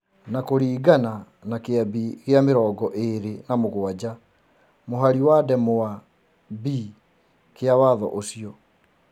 Nĩ kũringana na Kĩambi gĩa mĩrongo ĩrĩ na mũgwanja mũhari wa ndemwa b kĩa Watho ũcio.